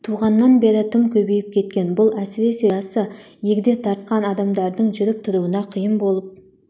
туғаннан бері тым көбейіп кеткен бұл әсіресе жасы егде тартқан адамдардың жүріп тұруына қиын болып